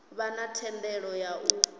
vha na thendelo ya u